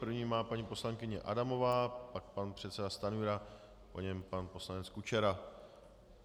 První má paní poslankyně Adamová, pak pan předseda Stanjura, po něm pan poslanec Kučera.